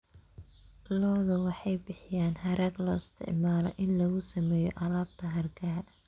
Lo'du waxay bixiyaan harag loo isticmaalo in lagu sameeyo alaabta hargaha.